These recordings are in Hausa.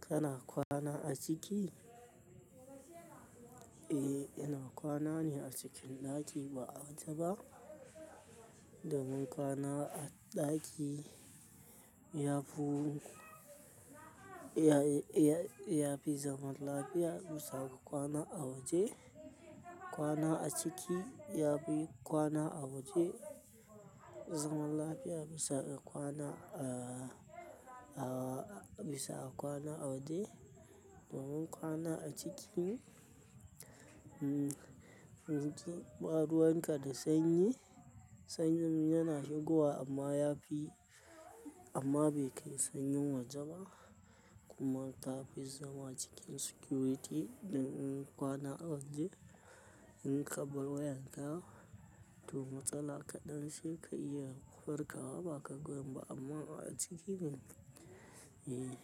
Kana kwana a ciki? Eh, ina kwana ne a cikin ɗaki ba a waje ba. Domin kwana a ɗaki yafi, ya-ya-yafi zaman lafiya bisa ga kwana a waje. Kwana a ciki yafi kwana a waje zaman lafiya bisa ga kwana a, a bisa kwana a waje. Domin kwana a ciki, hmm, ba ruwan ka da sanyi, sanyin yana shigowa amma yafi amma bai kai sanyin waje ba kuma ta fi zama cikin security. Domin kwana a waje. In ka bar wayanka, to matsala kaɗan ce ka iya farkawa ba ka ga wayan ba amma a ciki ne, eh,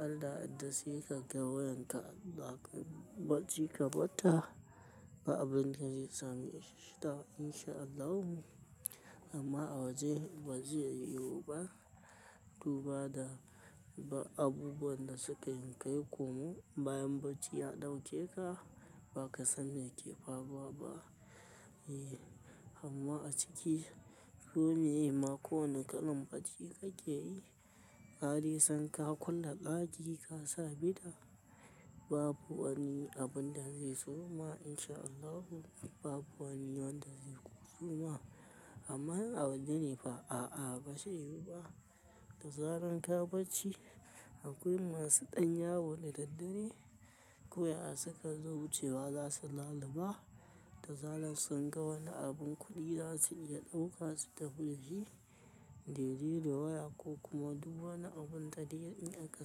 arda sai kaga wayanka, baka bacci ga barta, ba abunda zai same shi da in sha Allahu amma a waje ba zai yiwu ba. Duba da abubuwan da suka yi kai komo bayan bacci ya ɗauke ka, ba ka san me ke faruwa ba. Eh, amma a ciki ko miye ma, kowane kalan bacci kake yi, ka dai san ka ƙulla ɗaki ka sa ɓida babu wani abun da zai zo ma in sha Allahu. Babu wani wanda zai zo ma amma in a waje ne fa a'a ba zai yiwu ba. Da zaran ka bacci akwai masu ɗan yawo da daddare. Ko ya suka zo wucewa za su lalba. Da zaran sun ga wani abun kuɗi za su iya ɗauka su tafi da shi. Dai dai da waya ko kuma duk wani abun da dai in aka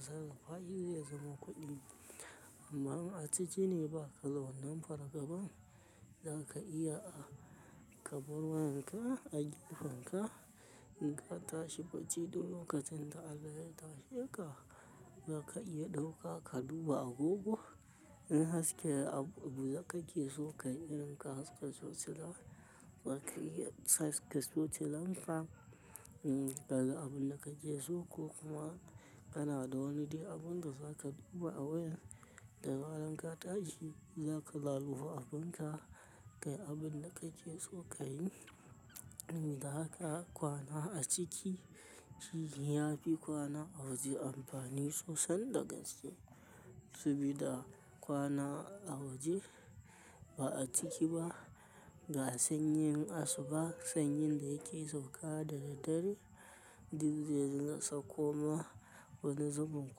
sarrafashi zai zama kuɗi. Amma in a ciki ne ba ka wannan fargaban. Zaka iya a ka bar wayanka, a gefenka, in ka tashi bacci duk lokacin da Allah ya tashe ka, zaka iya ɗauka ka duba agogo. In haske abu, abu kake so ka yi in ka haske tocila, za ka iya tocilanka. Hmm, ka ga abun da kake so ko kuma kana da wani dai abun da za ka duba a waya. Da zaran ka tashi za ka laluɓa abun ka kai abun da kake so ka yi. Da haka kwana a ciki shi yafi kwana a waje amfani sosai da gaske. Sabida kwana a waje ba a ciki ba ga sanyin asuba, sanyin da yake sauka da daddare. Duk zai dinga sauko ma wani zubin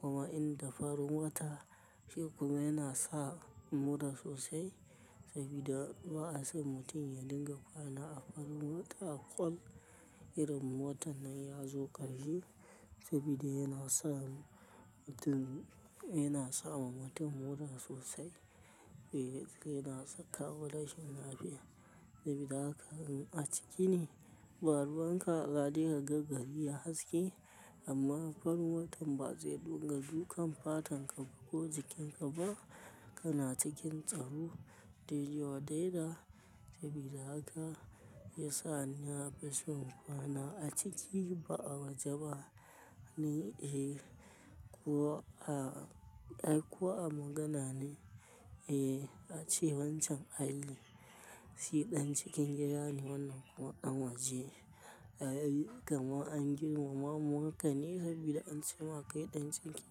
kuma inda farin wata shi kuma yana sa mura sosai sabida ba'a san mutum ya dinga kwana a farin wata a ƙwal. Irin watan nan ya zo ƙarshe sabida yana sa mutum, yana sawa mutum mura sosai. Eh, yana saka wa rashin lafiya sabida haka in a ciki ne. Baruwan ka za dai ka gari yayi haske amma farin watan ba zai dunga dukan fatan ka ko jikin ka ba, kana cikin tsaro. Daidai wa daida, sabida haka ya sa na rashin kwana a ciki ba a waje ba ni. Ai ko a magana ne, eh a ce wancan ai shi ɗan cikin gida ne wannan kuma ɗan waje, kama an girmamaka ne sabida an ce ma ɗan cikin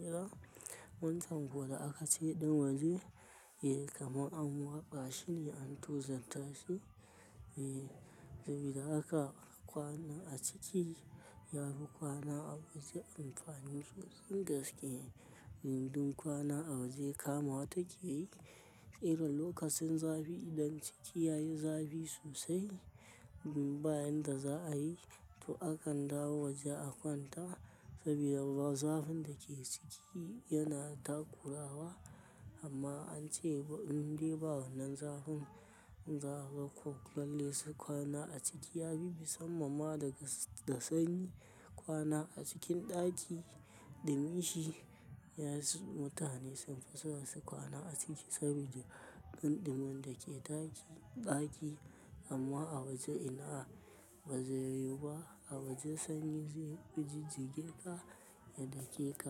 gida. Wancan kuma da aka ce ɗan waje yanzu kaman an warfa shi ne an tozarta shi. Eh, sabida haka kwana a ciki yafi kwana a waje amfani sosai gaske. Domin kwana a waje kamawa take yi. Irin lokacin zafi idan ciki yayi zafi sosai, in ba inda za ayi, to akan dawo waje a kwanta, sabida zafin da ke ciki yana takurawa. Amma an ce indai ba wannan zafin, za a ga ko lallai kwana a ciki yafi musamman ma da sanyi. Kwana a cikin ɗaki duminshi, mutane sun fi son su kwana a ciki saboda in ɗumin dake ɗaki, amma a waje inaaa, ba zai yiwu ba. A waje sanyi zai jijjige ka, ya dake ka.